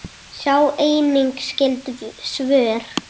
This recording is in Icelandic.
Sjá einnig skyld svör